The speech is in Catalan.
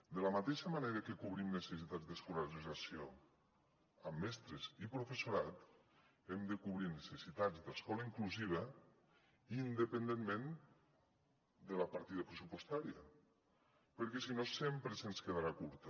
de la mateixa manera que cobrim necessitats d’escolarització amb mestres i professorat hem de cobrir necessitats d’escola inclusiva independentment de la partida pressupostària perquè si no sempre ens quedarà curta